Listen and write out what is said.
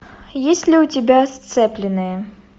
есть ли у тебя сцепленные